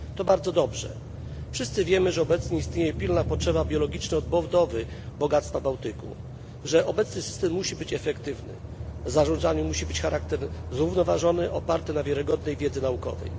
To bardzo dobrze. Wszyscy wiemy, że obecnie istnieje pilna potrzeba biologicznej odbudowy bogactwa Bałtyku i że obecny system musi być efektywny. Zarządzanie musi mieć charakter zrównoważony, oparty na wiarygodnej wiedzy naukowej.